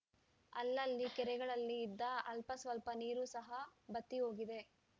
ಅಲ್ಲಲ್ಲಿ ಕೆರೆಗಳಲ್ಲಿ ಇದ್ದ ಅಲ್ಪಸ್ವಲ್ಪ ನೀರು ಸಹ ಬತ್ತಿ ಹೋಗಿದೆ